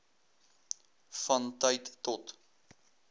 van tyd tot